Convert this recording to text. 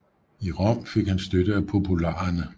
I Rom fik han støtte af popularerne